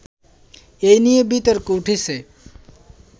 এ নিয়ে বিতর্ক উঠেছে